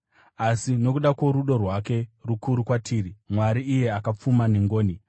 Asi nokuda kworudo rwake rukuru kwatiri, Mwari, iye akapfuma pangoni,